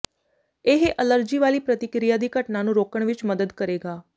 ਇਹ ਅਲਰਜੀ ਵਾਲੀ ਪ੍ਰਤੀਕ੍ਰਿਆ ਦੀ ਘਟਨਾ ਨੂੰ ਰੋਕਣ ਵਿੱਚ ਮਦਦ ਕਰੇਗਾ